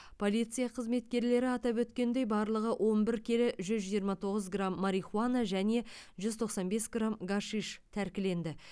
полиция қызметкерлері атап өткендей барлығы он бір келі жүз жиырма тоғыз грамм марихуана және жүз тоқсан бес грамм гашиш тәркіленді